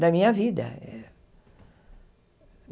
da minha vida.